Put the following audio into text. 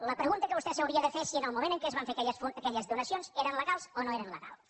la pregunta que vostè s’hauria de fer és si en el moment en què es van fer aquelles donacions eren legals o no eren legals